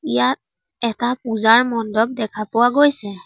ইয়াত এটা পূজাৰ মণ্ডপ দেখা পোৱা গৈছে।